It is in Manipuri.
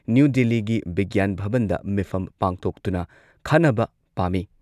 ꯅ꯭ꯌꯨ ꯗꯤꯜꯂꯤꯒꯤ ꯕꯤꯒ꯭ꯌꯥꯟ ꯚꯕꯟꯗ ꯃꯤꯐꯝ ꯄꯥꯡꯊꯣꯛꯇꯨꯅ ꯈꯟꯅꯕ ꯄꯥꯝꯃꯤ꯫